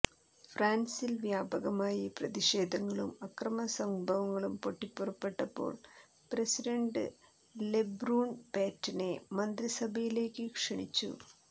ഫ്രാൻസിൽ വ്യാപകമായി പ്രതിഷേധങ്ങളും അക്രമസംഭവങ്ങളും പൊട്ടിപ്പുറപ്പെട്ടപ്പോൾ പ്രസിഡൻഡ് ലെബ്രൂൺ പേറ്റനെ മന്ത്രിസഭയിലേക്കു ക്ഷണിച്ചു